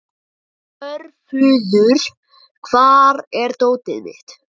Svörfuður, hvar er dótið mitt?